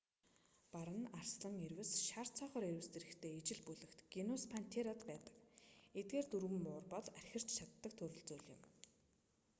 бар нь арслан ирвэс шар цоохор ирвэс зэрэгтэй ижил бүлэгт генус пантера байдаг. эдгээр дөрвөн муур бол архирч чаддаг төрөл зүйл юм